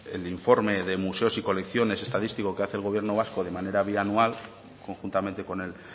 el informe de museos y colecciones estadísticos que hace el gobierno vasco de manera bianual conjuntamente con el